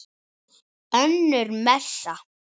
Önnur messa.